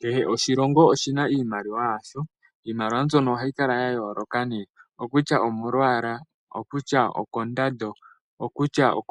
Kehe oshilongo oshina iimaliwa yasho . Iimaliwa mbyoka ohayi kala yayooloka momalwaala, koondando,